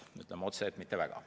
Ütleme otse, et mitte väga.